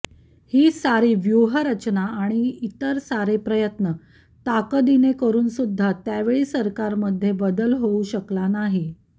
ही सारी व्यूव्हरचना आणि इतर सारे प्रयत्न ताकदीने करूनसुद्धा त्यावेळी सरकारमध्ये बदल होऊ शकला नाही